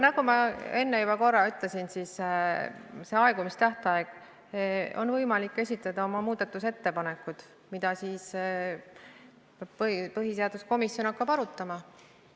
Nagu ma juba korra ütlesin, mis puutub aegumistähtaega, siis on võimalik esitada oma muudatusettepanekud, mida põhiseaduskomisjon hakkab arutama.